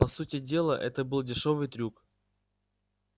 по сути дела это был дешёвый трюк